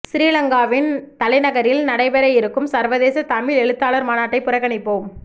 சிறிலங்காவின் தலைநகரில் நடைபெற இருக்கும் சர்வதேச தமிழ் எழுத்தாளர் மாநாட்டை புறக்கணிப்போம்